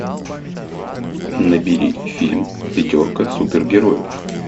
набери фильм пятерка супергероев